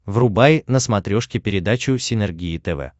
врубай на смотрешке передачу синергия тв